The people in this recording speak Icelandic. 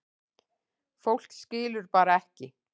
Fólk skilur bara ekki